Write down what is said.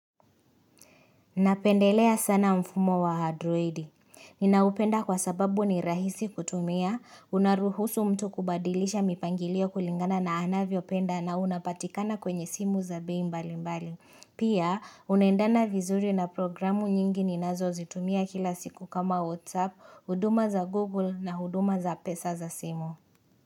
Napendelea sana mfumo wa androidi. Ninaupenda kwa sababu ni rahisi kutumia, unaruhusu mtu kubadilisha mipangilio kulingana na anavyopenda na unapatikana kwenye simu za bei mbali mbali. Pia, unaendana vizuri na programu nyingi ninazozitumia kila siku kama WhatsApp, huduma za Google na huduma za pesa za simu.